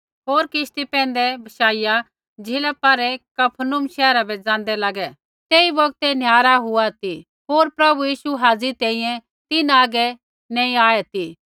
होर किश्ती पैंधै बशाइया झ़ीला पारै कफरनहूम शहरा बै ज़ाँदै लागे तेई बौगतै निहारा हुआ ती होर प्रभु यीशु हाज़ी तैंईंयैं तिन्हां आगै नैंई आऐ ती